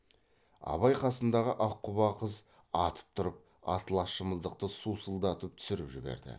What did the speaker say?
абай қасындағы аққұба қыз атып тұрып атлас шымылдықты сусылдатып түсіріп жіберді